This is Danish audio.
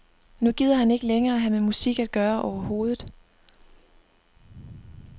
Nu gider han ikke længere have med musik at gøre overhovedet.